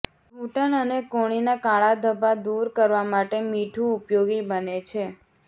ઘૂંટણ અને કોણીના કાળા ધબ્બા દૂર કરવા માટે મીઠું ઉપયોગી બને છે